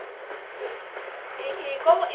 E e como